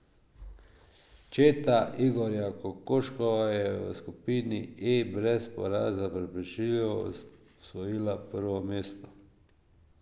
Četa Igorja Kokoškova je v skupini E brez poraza prepričljivo osvojila prvo mesto.